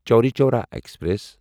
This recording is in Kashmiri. چوری چورا ایکسپریس